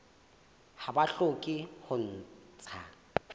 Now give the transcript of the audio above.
ha ba hloke ho ntsha